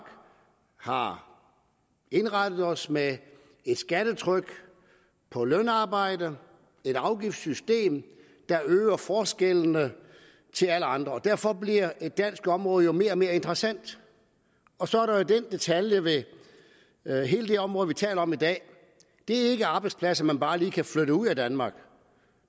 har indrettet os med et skattetryk på lønarbejde et afgiftssystem der øger forskellene til alle andre og derfor bliver et dansk område jo mere og mere interessant og så er der jo den detalje ved hele det område vi taler om i dag at det ikke er arbejdspladser man bare lige kan flytte ud af danmark